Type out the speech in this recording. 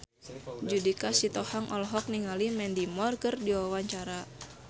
Judika Sitohang olohok ningali Mandy Moore keur diwawancara